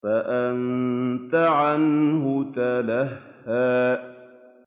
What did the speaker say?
فَأَنتَ عَنْهُ تَلَهَّىٰ